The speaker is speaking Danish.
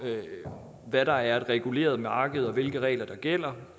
hvad der er et reguleret marked og hvilke regler der gælder